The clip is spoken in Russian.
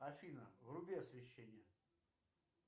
афина вруби освещение